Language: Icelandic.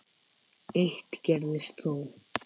Eitt gerðist þó.